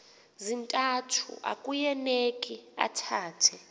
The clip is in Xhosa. zintathu akueuneki athethe